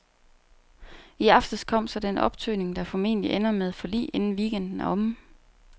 I aftes kom så den optøning, der formentlig ender med forlig, inden weekenden er omme.